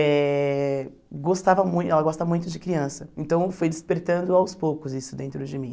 Eh gostava mui ela gosta muito de criança, então foi despertando aos poucos isso dentro de mim.